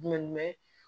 Jumɛn